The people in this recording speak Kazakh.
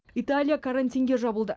италия карантинге жабылды